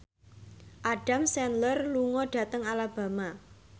Adam Sandler lunga dhateng Alabama